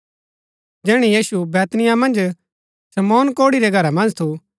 जैहणै यीशु बैतनिय्याह मन्ज शमौन कोढ़ी रै घरा मन्ज थु